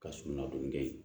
Ka sugunɛ don kɛ